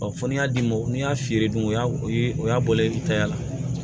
fɔ ni y'a d'i ma n'i y'a fiyɛ don o y'a o y'a bɔlen tay'a la